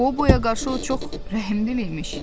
Qoboya qarşı o çox rəhimliymiş.